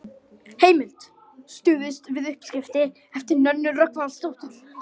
Vatnsinnihaldið er breytilegt, svo og kísilinnihaldið.